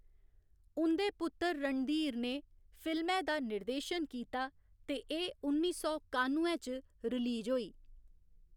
उं'दे पुत्तर रणधीर ने फिल्मै दा निर्देशन कीता ते एह्‌‌ उन्नी सौ कानुए च रिलीज होई।